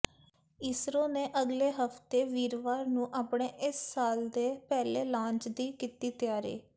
ਇਸਰੋ ਨੇ ਅਗਲੇ ਹਫ਼ਤੇ ਵੀਰਵਾਰ ਨੂੰ ਆਪਣੇ ਇਸ ਸਾਲ ਦੇ ਪਹਿਲੇ ਲਾਂਚ ਦੀ ਕੀਤੀ ਤਿਆਰੀ